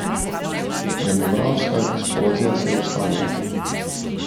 Demografska eksplozija se je ustavila.